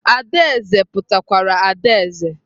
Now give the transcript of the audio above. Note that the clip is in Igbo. Adaeze pụtakwara adaeze.